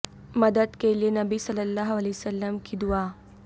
مدد کے لئے نبی صلی اللہ علیہ وسلم کی دعا